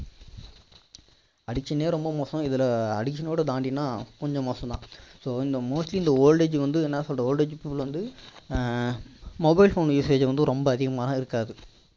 addiction லயே ரொம்ப மோசம் இதுல addiction ஓட தாண்டினா கொஞ்சம் மோசம் தான் so இந்த mostly இந்த old age peolple வந்து என்ன சொல்ல old age people வந்து ஆஹ் mobile phone usage வந்து ரொம்ப அதிகமா இருக்காது